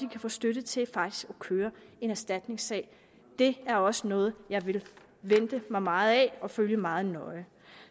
kan få støtte til faktisk at køre en erstatningssag det er også noget jeg venter mig meget af og vil følge meget nøje